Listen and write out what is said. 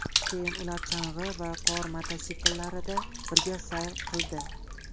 Keyin ular chang‘i va qor mototsikllarida birga sayr qildi .